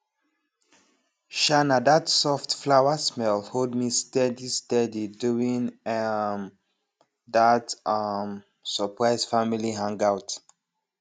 um na that soft flowersmell hold me steady steady during um that um surprise family hangout